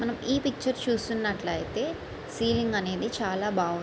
మనం ఈ పిక్చర్ చూస్తున్నట్లయితే సీలింగ్ అనేది చాలా బాగుంది.